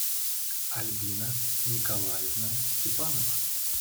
альбина николаевна степанова